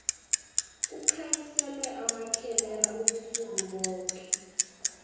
kukhanyiselwe amakhemera ubusuku boke